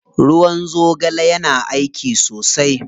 Ruwan zogale yana aiki sosai.